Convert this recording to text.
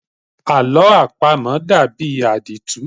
Àlọ́ àpamọ dàbí àdìtú.